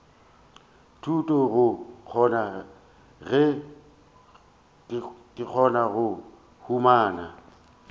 thuto go kgona go humana